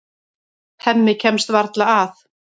Hemmi kemst varla að.